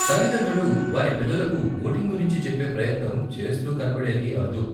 తల్లిదండ్రులు వారి పిల్లలకు వోటింగ్ గురించి చెప్పే ప్రయత్నం చేస్తూ కనపడేది అరుదు.